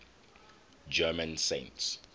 german saints